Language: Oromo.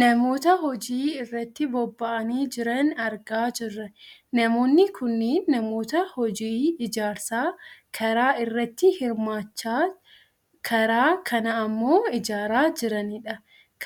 Namoota hojii irratti bobba`anii jiran argaa jirra. Namoonni kunneen namoota hojii ijaarsa karaa irratti hirmaachaa karaa kana ammoo ijaaraa jiranidha.